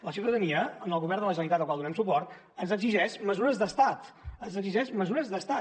la ciutadania en el govern de la generalitat al qual donem suport ens exigeix mesures d’estat ens exigeix mesures d’estat